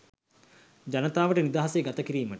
ජනතාවට නිදහසේ ගතකිරීමට